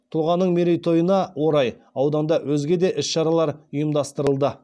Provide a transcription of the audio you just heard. тұлғаның мерейтойына орай ауданда өзге де іс шаралар ұйымдастырылды